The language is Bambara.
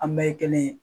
An bɛɛ ye kelen ye